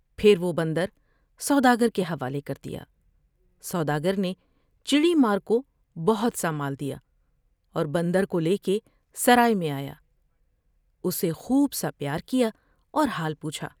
پھر وہ بندرسوداگر کے حوالے کر دیا سوداگر نے چڑی مارکو بہت سامال دیا اور بندرکو لے کے سراۓ میں آیا ، اسے خوب سا پیار کیا اور حال پوچھا ۔